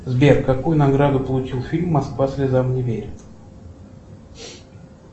сбер какую награду получил фильм москва слезам не верит